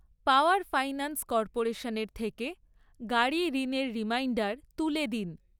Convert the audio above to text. পাওয়ার finance কর্পোরেশনের থেকে গাড়ি ঋণের রিমাইন্ডার তুলে দিন।